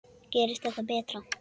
Gerist það betra.